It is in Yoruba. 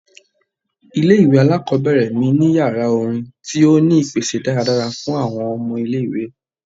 Ile-iwe alakọbẹrẹ mi ni yara orin ti o ni ipese daradara fun awọn ọmọ ile-iwe